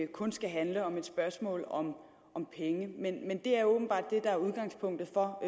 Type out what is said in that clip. kun skal handle om om penge men det er åbenbart det der er udgangspunktet for